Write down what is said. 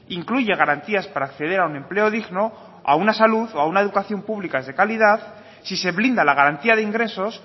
incluye garantías para acceder a un empleo digno a una salud o a una educación pública de calidad si se blinda la garantía de ingresos